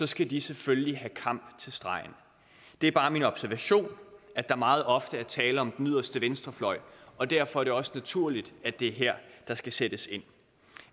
skal de selvfølgelig have kamp til stregen det er bare min observation at der meget ofte er tale om den yderste venstrefløj og derfor er det også naturligt at det er her der skal sættes ind